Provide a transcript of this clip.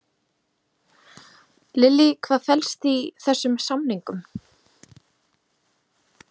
Lillý, hvað felst í þessum samningum?